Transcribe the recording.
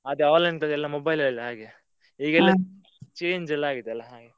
ಅದೇ mobile ಅಲ್ಲೇ ಅಲ್ಲಾ ಹಾಗೆ. ಈಗೆಲ್ಲಾ change ಎಲ್ಲಾ ಆಗಿದೆ ಅಲ್ಲಾ ಹಾಗೆ.